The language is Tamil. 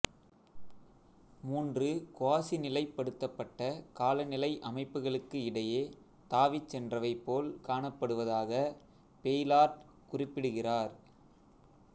மூன்று குவாஸிநிலைப்படுத்தப்பட்ட காலநிலை அமைப்புக்களுக்கு இடையே தாவிச்சென்றவை போல் காணப்படுவதாக பெய்லார்ட் குறிப்பிடுகிறார்